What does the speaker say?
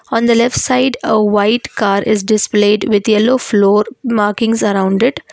on the left side a white car is displayed with yellow floor mrking sorrounded